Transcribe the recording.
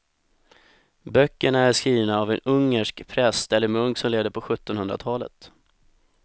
Böckerna är skrivna av en ungersk präst eller munk som levde på sjuttonhundratalet.